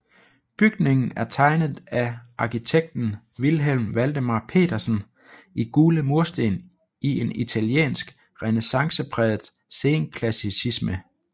Bygningen er tegnet af arkitekten Vilhelm Valdemar Petersen i gule mursten i en italiensk renæssancepræget senklassicisme